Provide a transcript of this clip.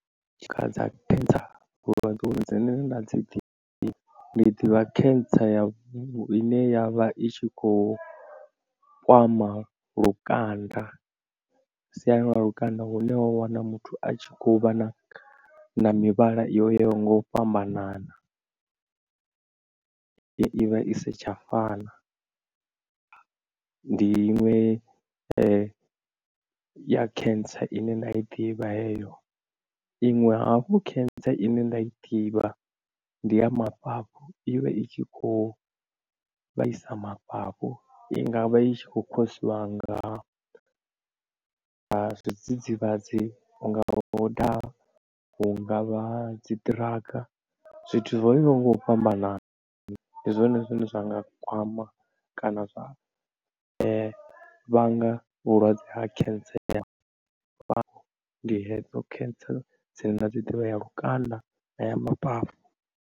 Tshakha dza cancer vhulwadze dzine nda dzi ḓivha, ndi ḓivha cancer ya ine ya vha i tshi khou kwama lukanda, siani ḽa lukanda hune wa wana muthu a tshi khou vha na na mivhala yo yaho nga u fhambanana, i vha i si tsha fana, ndi inwe ya cancer ine nda i ḓivha heyo. Iṅwe hafhu cancer ine nda i ḓivha ndi ya mafhafhu ivha i tshi khou vhaisa mafhafhu, i nga vha i tshi kho khou khosiwa nga na zwidzidzivhadzi hunga vha u daha, hu ngavha dzi drug, zwithu zwo yaho nga u fhambanana ndi zwone zwine zwa nga kwama kana zwa vhanga vhulwadze ha cancer, ndi hedzo cancer dzine nda dzi ḓivha ya lukanda kana ya mafhafhu.